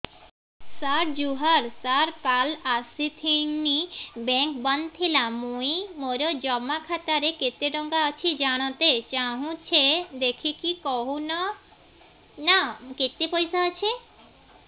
ସାର ଜୁହାର ସାର କାଲ ଆସିଥିନି ବେଙ୍କ ବନ୍ଦ ଥିଲା ମୁଇଁ ମୋର ଜମା ଖାତାରେ କେତେ ଟଙ୍କା ଅଛି ଜାଣତେ ଚାହୁଁଛେ ଦେଖିକି କହୁନ ନା କେତ ପଇସା ଅଛି